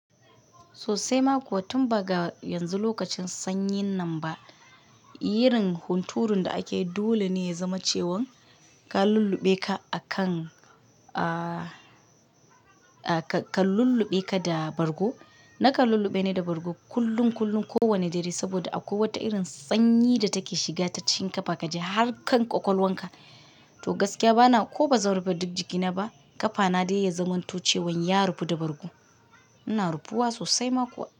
Sosai ma kuwa tun ba ga yanzu lokacin sanyin nan ba, irin hunturun da ake dole ne ya zama cewan ka lulluɓe ka akan, ah, ka lulluɓe ka da bargo. Na ka lulluɓe ne da bargo kullum kullum kowane dare saboda a kowace irin sanyi da take shiga ta cin kafa ka ji har kan ƙwaƙwalwanka. To gaskiya bana ko bazan rufe duk jikina ba, ƙafana dai ya zamanto cewan ya rufe da bargo. Ina rufuwa sosai ma kuwa.